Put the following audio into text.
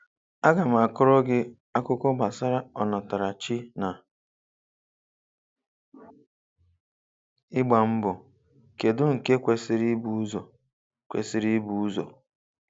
Aga m akọrọ gị akụkọ gbasara ọnàtàràchì na ị̀gbàmbọ. Kèdụ nke kwesiri ị̀bù ụzọ? kwesiri ị̀bù ụzọ?